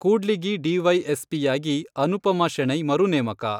ಕೂಡ್ಲಿಗಿ ಡಿವೈಎಸ್ಪಿಯಾಗಿ ಅನುಪಮಾ ಶೆಣೈ ಮರುನೇಮಕ.